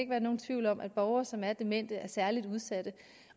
være nogen tvivl om at borgere som er demente er særlig udsatte